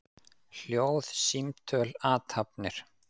Hljóð, símtöl, athafnir.